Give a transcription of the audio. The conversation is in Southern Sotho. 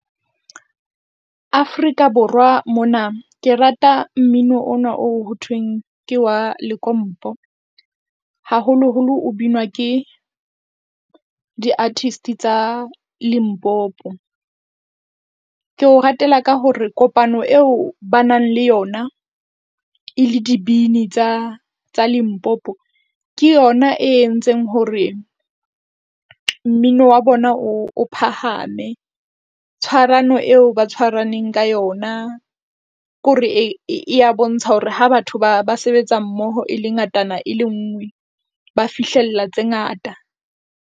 Afrika Borwa mona ke rata mmino ona o ho thweng ke wa lekompo haholoholo o binwa ke di-artist tsa Limpopo. Ke o ratela ka hore kopano eo ba nang le yona e le dibini tsa tsa Limpopo, ke yona e entseng hore mmino wa bona o, o phahame. Tshwarano eo ba tshwaraneng ka yona ke hore e ya bontsha hore ha batho ba ba sebetsa mmoho e le ngatana e le nngwe, ba fihlella tse ngata.